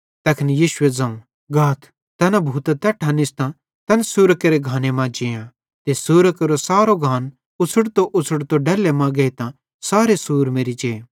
तैखन यीशुए ज़ोवं गाथ तैना भूतां तैट्ठां निस्तां तैन सुरां केरे घाने मां जेआं ते सुरां केरो सारो घान उछ़ड़तोउछ़ड़तो डैल्ले मां गेइतां सारे सुअर मेरि जे